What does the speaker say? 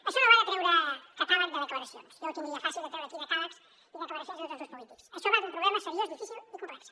això no va de treure catàleg de declaracions jo ho tindria fàcil de treure aquí decàlegs i declaracions de tots els grups polítics això va d’un problema seriós difícil i complex